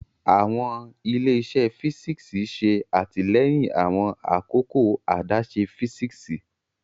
Awọn ile-iṣẹ físíksì ṣe atilẹyin awọn akoko adaṣe físíksì.